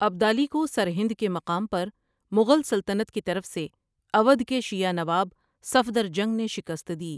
ابدالی کو سرہند کے مقام پرمغل سلطنت کی طرف سے اودھ کے شیعہ نواب صفدر جنگ نے شکست دی ۔